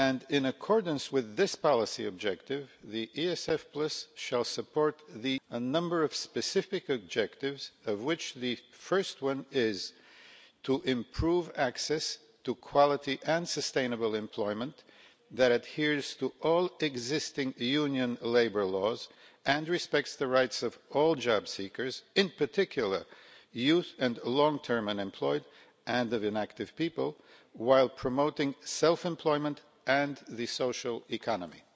In accordance with this policy objective, the ESF should support a number of specific objectives, of which the first is to improve access to quality and sustainable employment that adheres to all existing union labour laws and respects the rights of all job seekers in particular the young and long-term unemployed and inactive people while promoting self-employment and the social economy.